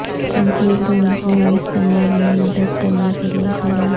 control room room استعمال میں مدد کرنے کے لئے خیالات